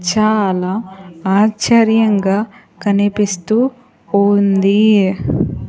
చాలా ఆశ్చర్యంగా కనిపిస్తూ ఉంది.